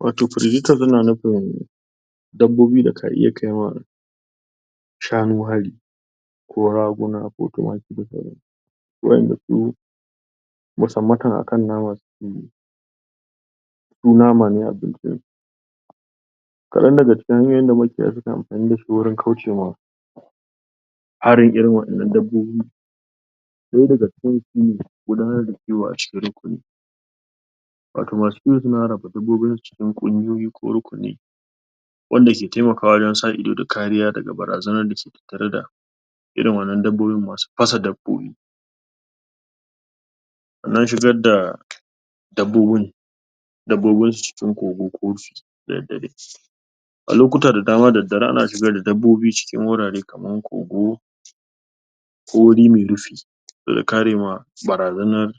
wato predators yana nufin dabbobi da ka iya kaiwa shanu hari ko raguna, to kimaki, da sauransu wayanda su musanmatan akan nama sukeyi su nama ne abin cin su kadan daga cikin hanyoyin da makiya suke anfani dashi wajen kaucewa harin irin wa'ennan dabbobin daya daga cikin su gudanar da kiko a cikin rukuni wato masu kiwo suna cikin kungiyoyi ko rukuni wanda ke taimakawa wajen sa ido, da kariya, da ga barazana dake tattare da irin wannan dabbobin masu fasa dabobi na shigar da dabbobin dabbobi cikin kogo da daddare a lokuta da dama da daddare ana shiga da dabobi a cikin hurare kaman kogo ko wuri mai rufi daga karewa barazan nan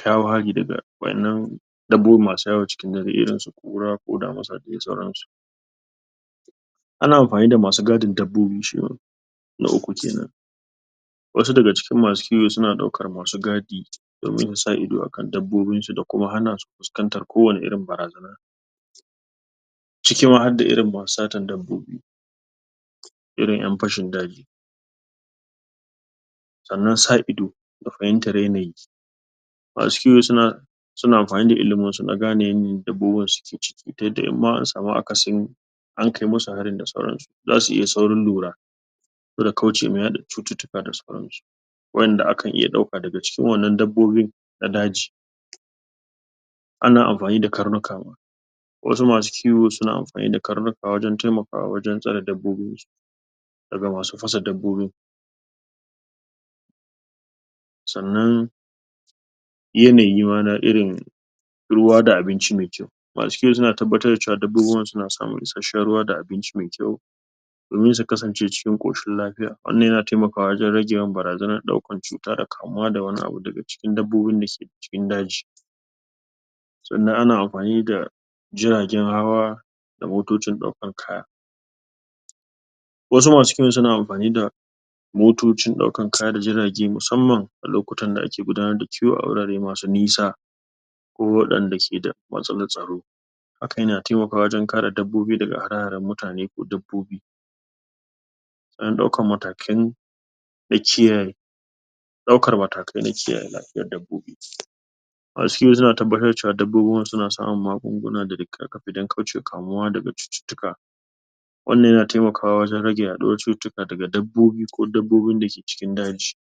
kawo hari daga wayan nan dabbobi masu yawo cikin dare irin su kura ko damusa da dai sauransu ana anfani da masu gadin dabbobi shima na uku kenan wasu daga cikin masu kiwo suna daukan masu gadi domin sa ido akan dabbobin su da kuma hanasu fiskanta kowanne barazana domin sa ido akan dabbobin su da kuma hanasu fiskanta kowanne barazana ciki ma hadda masu satan dabbobi irin yan fashin daji sannan sa ido da fahintan yanayi ma su kiwo suna anfani da ilimin su dan gane yanayin da dabbobin su suke ciki ta yadda in ma an samu akasin an kai musu harin da sauran su zasu iya saurin lura sabo da kaucewa yada cututtuka da sauransu wayan da akan iya dauka da ga cikin wan nan dabbobin na daji ana anfani da karnuka ma wasu masu ciwo suna anfani da karnuka wajen tsare dabbobin su daga masu fasa dabbobin san nan yanayi ma na irin ruwa da abinci mai yau masu kiwo suna tababtar da dabbobin na samun ishashshen ruwa da abinci mai kyau domin su kasance cikin koshin lafiya wannan yana taimakwa wajen rage yawan barazanan daukan tsuta da kamuwa daga wani abu daga dabbobin da suke cikin daji sannan ana anfani da jirajen hawa da motocin daukan kaya wasu masu kiwon suna anfani da motocin daukan kaya da jirage musamman a lokutan da ake gudanar da kiwo a wurare masu nisa ko wayanda keda matsalan tsaro hakan yana taimakawa wajen kare dabbobi daga hare-haren mutane ko dabbobi dan daukan matakan da kiyaye daukan matakai dan kiyaye lafiyan dabbobi masu kiwo suna tabbatar da cewa dabbobinsu suna samun magunnuna dan kaucewa kamuwa daga cutttuka wan nan yana taimakawa wajen rage yaduwar cutitika daga dabbobi ko dabbobin da ke cikin daji.